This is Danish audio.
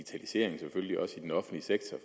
vi selvfølgelig også i den offentlige sektor